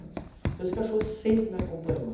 Então esse cachorro sempre me acompanhou.